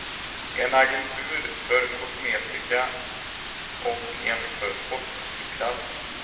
En agentur för kosmetika och en för sportartiklar.